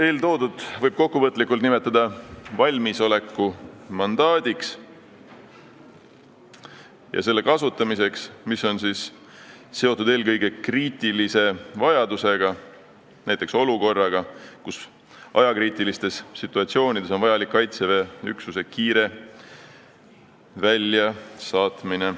Eeltoodut võib kokkuvõtlikult nimetada valmisoleku mandaadiks ja selle kasutamiseks, kui tegu on eelkõige kriitilise vajadusega, näiteks ajakriitilise olukorraga, kus on vajalik Kaitseväe üksuse kiire väljasaatmine.